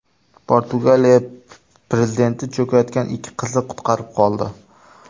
Portugaliya prezidenti cho‘kayotgan ikki qizni qutqarib qoldi.